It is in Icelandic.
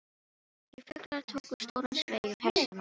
Tveir fuglar tóku stóran sveig um hestana og mennina.